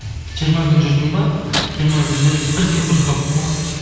жиырма күн жүрдім ба жиырма күнде бір тиын құртпаппын ғой